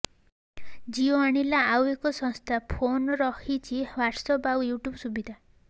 ଜିଓ ଆଣିଲା ଆଉ ଏକ ଶସ୍ତା ଫୋନ ରହିଛି ହ୍ୱାଟ୍ସଆପ୍ ଆଉ ୟୁଟ୍ୟୁବ୍ ସୁବିଧା